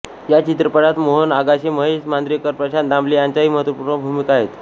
या चित्रपटात मोहन आगाशे महेश मांजरेकर प्रशांत दामले यांच्याही महत्वपूर्ण भूमिका आहेत